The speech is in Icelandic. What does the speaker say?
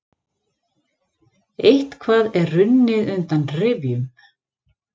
Eitthvað er runnið undan rifjum